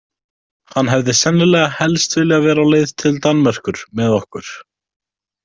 Hann hefði sennilega helst viljað vera á leið til Danmerkur með okkur.